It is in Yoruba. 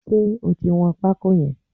Ṣé o ti wọn pákó yẹn?